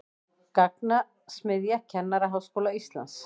Gagnasmiðja Kennaraháskóla Íslands